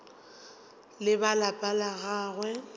le ba lapa la gagwe